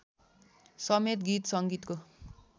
समेत गीत सङ्गीतको